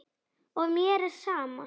Og mér er sama.